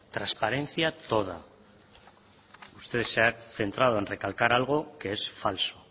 transparencia toda usted se ha centrado en recalcar algo que es falso